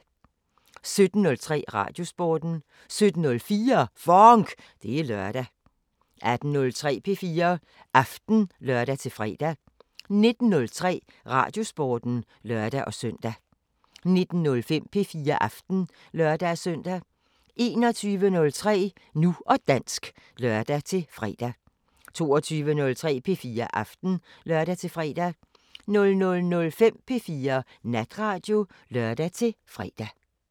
17:03: Radiosporten 17:04: FONK! Det er lørdag 18:03: P4 Aften (lør-fre) 19:03: Radiosporten (lør-søn) 19:05: P4 Aften (lør-søn) 21:03: Nu og dansk (lør-fre) 22:03: P4 Aften (lør-fre) 00:05: P4 Natradio (lør-fre)